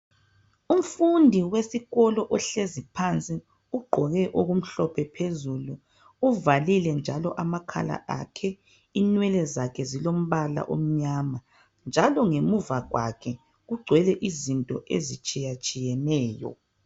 Umfundi wesikolo ohleziphansi ugqoke okumhlophe phezulu uvalile njalo amakhala akhe inwele zakhe ezilombala omnyama njalo ngenva kwakhe kugcwele izinto ezitshiyetshiyeneyo.